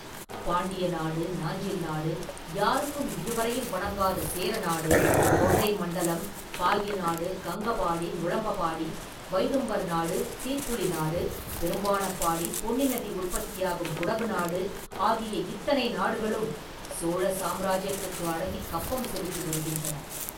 பாண்டிய நாடு, நாஞ்சில் நாடு, யாருக்கும் இதுவரையில் வணங்காத சேர நாடு, தொண்டை மண்டலம், பாகி நாடு, கங்கபாடி, நுளம்பபாடி, வைதும்பர் நாடு, சீட்புலி நாடு, பெரும்பாணப்பாடி, பொன்னி நதி உற்பத்தியாகும் குடகு நாடு ஆகிய இத்தனை நாடுகளும் சோழ சாம்ராஜ்யத்துக்கு அடங்கிக் கப்பம் செலுத்தி வருகின்றன.